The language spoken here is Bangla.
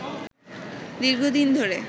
দীর্ঘদিন ধরে